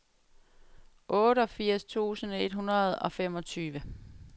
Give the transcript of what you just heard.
otteogfirs tusind et hundrede og femogtyve